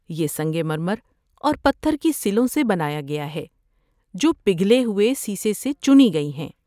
یہ سنگ مرمر اور پتھر کی سلوں سے بنایا گیا ہے، جو پگھلے ہوئے سیسہ سے چنی گئی ہیں۔